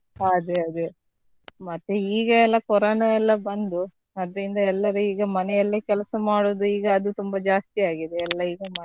ಹಾ ಅದೇ ಅದೇ ಮತ್ತೆ ಈಗ ಎಲ್ಲಾ ಕೊರೊನಾ ಎಲ್ಲಾ ಬಂದು ಅದ್ರಿಂದ ಎಲ್ಲರೂ ಈಗ ಮನೆಯಲ್ಲೇ ಕೆಲಸ ಮಾಡುದು ಈಗ ಅದು ತುಂಬಾ ಜಾಸ್ತಿ ಆಗಿದೆ ಎಲ್ಲ ಈಗ.